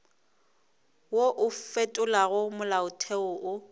wo o fetolago molaotheo o